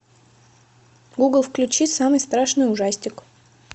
гугл включи самый страшный ужастик